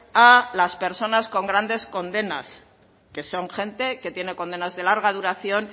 a las personas con grandes condenas que son gente que tiene condenas de larga duración